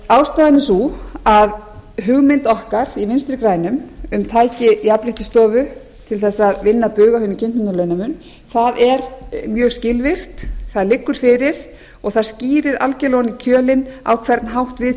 ástæðan er sú að hugmynd okkar í vinstri grænum um tæki jafnréttisstofu til þess að vinna bug á hinum kynbundna launamun það er mjög skilvirkt það liggur fyrir og það skýrir algjörlega ofan í kjölinn á hvern hátt við